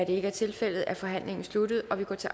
ikke er tilfældet er forhandlingen sluttet og vi går til